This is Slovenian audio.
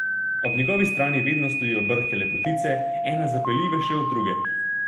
Ob njegovi strani vedno stojijo brhke lepotice, ena zapeljivejša od druge.